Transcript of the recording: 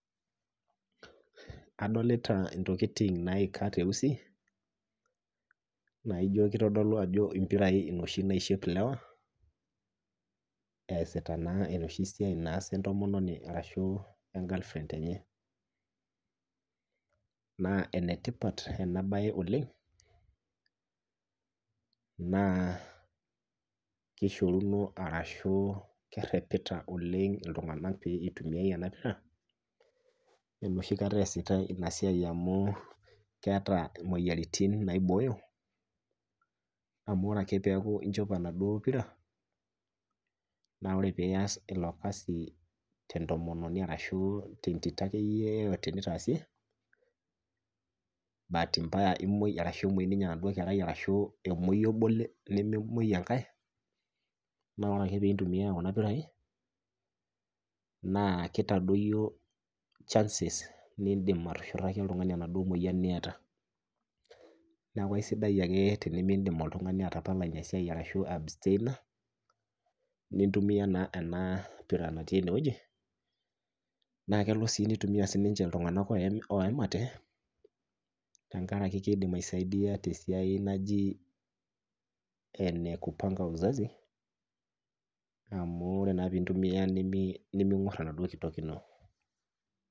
Adolita ntokiting' naika teusi naijo kitodolu ajo pirai noshi naishop ilewa esiata naa enoshi siai naasi entomononi ashu e girlfriend enye. naa enetipata ena bae oleng' naa kerepita iltung'anak pee eitumiyia ena pira enoshi kata eesitae ina siai amu keeta moyiaritin naibooyo, amu ore ake peeku inchopo enaduo pira ,ore ake pee iyas ilo kasi tentomononi ashu tentito akeyie pooki nitaasie bati mbaya nimwoi ashu emwoi enaduo tito ,ashu emwoi nabo nememwoi enkae ,naa ore ake pee intumiya Kuna pirai naa kitadoyio chances nindim atushurtaki oladuo tung'ani enaduo moyian niyata .neeku keisidai ake tenindim oltung'ani atapala ina siai ashu ai abstain a nintumiya ena pira natii eneweji. naa kelo nitumiya siininche iltung'anak oyamate tenkaraki keidim aisaidia tesiai naji ene kupanga uzazi amu ore naa pee intumiya nimigor enaduo kitok ino.